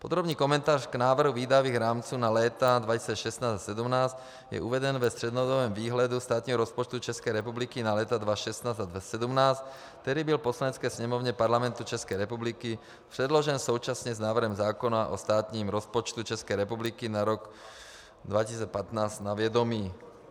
Podrobný komentář k návrhu výdajových rámců na léta 2016 a 2017 je uveden ve střednědobém výhledu státního rozpočtu České republiky na léta 2016 a 2017, který byl Poslanecké sněmovně Parlamentu České republiky předložen současně s návrhem zákona o státním rozpočtu České republiky na rok 2015 na vědomí.